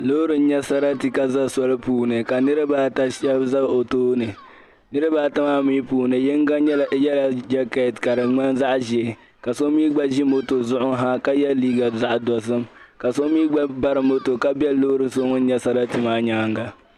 loori n nyɛ sarati ka za soli puuni ka niriba ata shabi za o tooni niriba ata mii puuni yiŋga nyɛla yela jacket ka di nyɛ zaɣ'ʒeei ka so mii gba ʒi moto zuɣu ha ka ye liiga dosim ka so mii gba bari moto ka be loori shɛli din nyɛ sarati maa nyaaŋa.